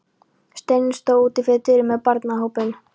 Steinunn stóð úti fyrir dyrum með barnahópinn.